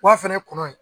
Wa fɛnɛ kɔnɔ ye